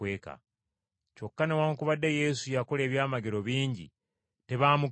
Kyokka newaakubadde Yesu yakola ebyamagero bingi, tebaamukkiriza.